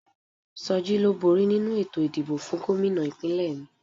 Soji ló bóri nínu ètò ìdìbò fún Gómìnà ìpínlẹ̀ mi